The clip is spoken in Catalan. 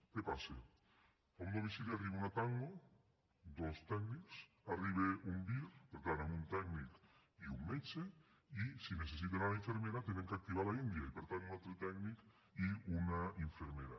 què passa a un domicili arriba una tango dos tècnics arriba un vir per tant amb un tècnic i un metge i si necessiten la infermera han d’activar l’india i per tant un altre tècnic i una infermera